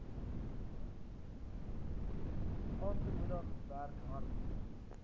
aantemoedig werk hard